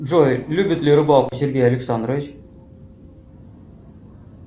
джой любит ли рыбалку сергей александрович